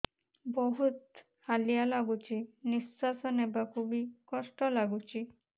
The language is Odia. ବହୁତ୍ ହାଲିଆ ଲାଗୁଚି ନିଃଶ୍ବାସ ନେବାକୁ ଵି କଷ୍ଟ ଲାଗୁଚି